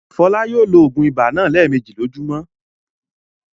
Fọlá yóò lo òògùn ibà náà lẹ́ẹ̀mejì lójúmọ́!